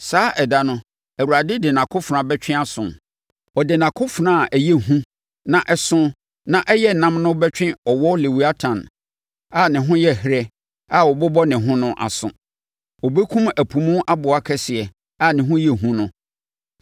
Saa ɛda no, Awurade de nʼakofena bɛtwe aso, ɔde nʼakofena a ɛyɛ hu na ɛso na ɛyɛ nnam no bɛtwe ɔwɔ Lewiatan a ne ho yɛ herɛ a ɔbobɔ ne ho no aso; ɔbɛkum ɛpo mu aboa kɛseɛ a ne ho yɛ hu no.